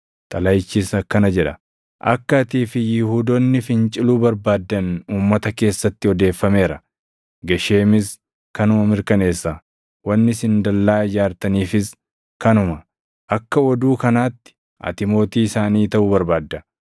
Xalayichis akkana jedha: “Akka atii fi Yihuudoonni finciluu barbaaddan uummata keessatti odeeffameera; Gesheemis kanuma mirkaneessa. Wanni isin dallaa ijaartaniifis kanuma; akka oduu kanaatti ati mootii isaanii taʼuu barbaadda;